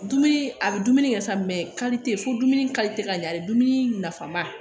Dumuni a bɛ dumuni kɛ sa fo dumuni ka ɲɛ dumuni nafama